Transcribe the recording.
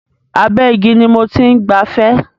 Abẹ́ igi ni mo ti ń gbafẹ́.